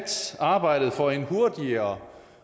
arbejdet for en hurtigere